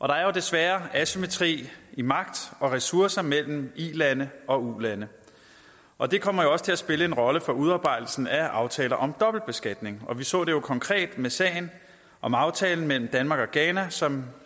der er jo desværre asymmetri i magt og ressourcer mellem ilande og ulande og det kommer også til at spille en rolle for udarbejdelsen af aftaler om dobbeltbeskatning vi så det jo konkret med sagen om aftalen mellem danmark og ghana som